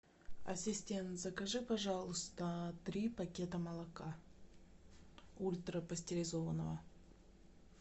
ассистент закажи пожалуйста три пакета молока ультрапастеризованного